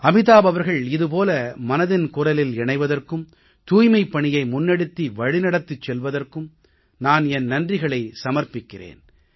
அமிதாப் அவர்கள் இது போல மனதின் குரலில் இணைவதற்கும் தூய்மைப் பணியை முன்னெடுத்து வழிநடத்திச் செல்வதற்கும் நான் என் நன்றிகளை சமர்ப்பிக்கிறேன்